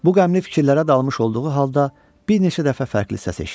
Bu qəmli fikirlərə dalmış olduğu halda bir neçə dəfə fərqli səs eşitdi.